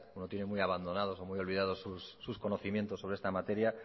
uno tiene muy abandonados o muy olvidados sus conocimientos sobre esta materia